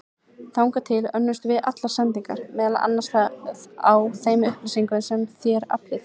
Þangað til önnumst við allar sendingar, meðal annars á þeim upplýsingum sem þér aflið.